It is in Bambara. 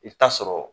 I bɛ taa sɔrɔ